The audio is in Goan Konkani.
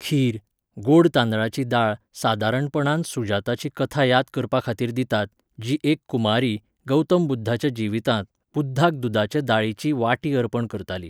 खीर, गोड तांदळाची दाळ सादारणपणान सुजाताची कथा याद करपाखातीर दितात, जी एक कुमारी, गौतम बुध्दाच्या जिवितांत, बुध्दाक दुदाचे दाळीची वाटी अर्पण करताली.